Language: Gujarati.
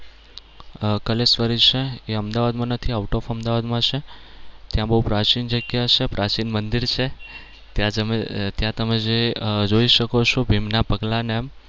અમ કલેશ્વરી છે એ અમદાવાદમાં નથી out of અમદાવાદમાં છે. ત્યાં બવ પ્રાચીન જગ્યા છે, પ્રાચીન મંદિર છે. ત્યાં તમે ત્યાં તમે જે જોઈ શકો છો ભીમના પગલાંને